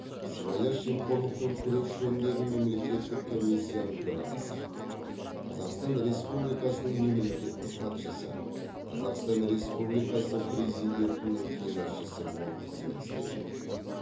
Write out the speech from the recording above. сыбайлас жемқорлықпен күрес жөніндегі мемлекеттік комиссияның төрағасы қазақстан республикасының мемлекеттік хатшысы қазақстан республикасы президентінің кеңесшісі болып қызмет істеген